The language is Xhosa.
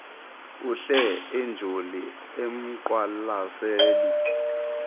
uhle enjoli umqwalaseli